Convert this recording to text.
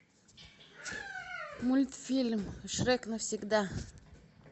мультфильм шрек навсегда